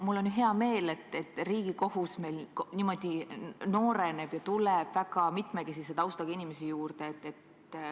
Mul on hea meel, et Riigikohus meil niimoodi nooreneb ja tuleb väga mitmekesise taustaga inimesi juurde.